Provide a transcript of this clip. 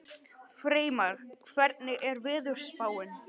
Freymar, hvernig er veðurspáin?